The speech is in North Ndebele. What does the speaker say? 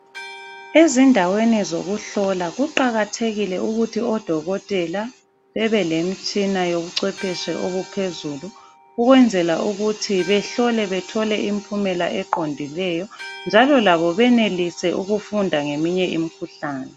Ezindaweni zokuhlola kuqakathekile ukuthi odokotela bebelemitshina yobuxwephetshi obuphezulu ukwenzela ukuthi behlole bethole impumela eqondileyo njalo labo benelise ukufunda ngeminye imikhuhlane.